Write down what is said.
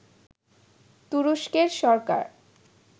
তুরস্কের সরকার